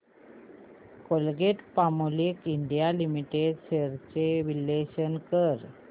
Colgate Palmolive India limited shares चे विश्लेषण कर